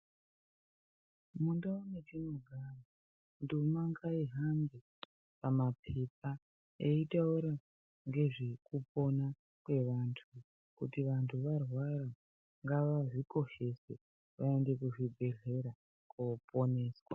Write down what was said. Mundau metinogara ndima ngaihambe mumapepa yeitaura ngezvekupona kweanhu kuti kana anhu arwara ngavazvikoshese vaende kuzvibhehlera voponeswa